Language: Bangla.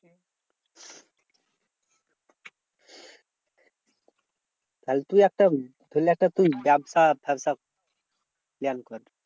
তাহলে তুই একটা তাহলে একটা তুই join কর।